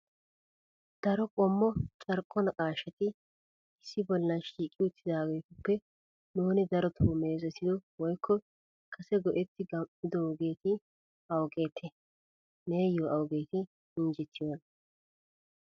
Daro qommo carkko naqqaashati issi bollan shiiqi uttidaagetuppe nuuni darotoo meezetido woykko kase go"etti gam'idoogeeti awugeete? Neeyo awugeeti injjetiyoona ?